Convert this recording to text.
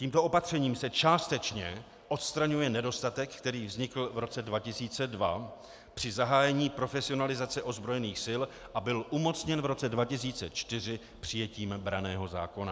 Tímto opatřením se částečně odstraňuje nedostatek, který vznikl v roce 2002 při zahájení profesionalizace ozbrojených sil a byl umocněn v roce 2004 přijetím branného zákona.